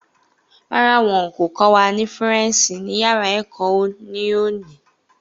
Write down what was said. Rárá, wọn kò kọ́ wa ní faransé ní yàrá èkó ní òní